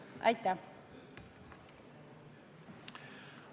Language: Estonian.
Aitäh!